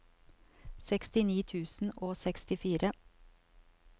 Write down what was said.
sekstini tusen og sekstifire